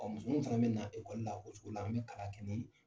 musomaninw fana bɛ na ekɔli la o cogo la. An bɛ kalan kɛ nin